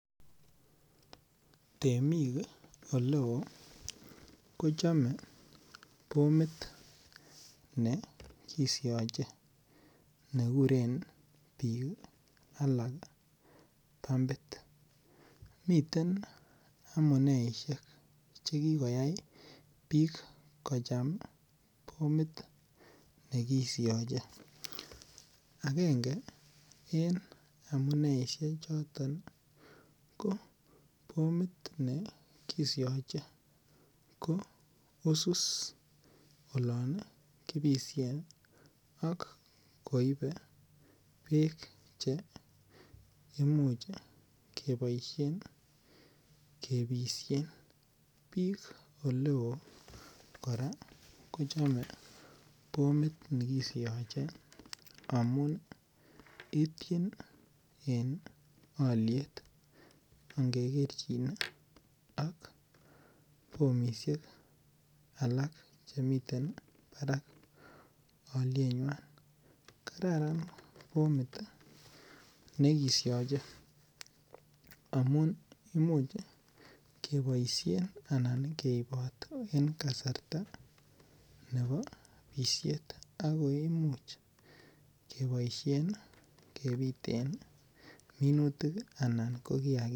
En boisiet nebo temisiet ih koboisin bomit ih, nekisiache anan ih, biik alak kokuren ih amuun ih bomit niton ih , kochakta boisiet ih , olaan kibite minutik anan ih olan ih kibite kiagik. Kit age kora neyae temik sikochame ih , bomit nekisiachei ko bominiton ih ak koimuch keibot ih en komusiek cheter ter ih chekiboisien . Bomit ni kora koibe bek kisiach en kasarta nekibitisien. Ako yae kochakta boisiet ih nebo bisiet angekerchin ak bomit nekisuri ih anan nemokisibtate.